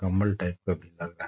कंबल टाइप निकल रहा--